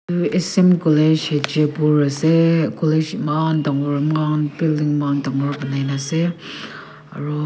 aru S_M college hajipur ase college eman dangor eman building eman dangor banai na ase aru--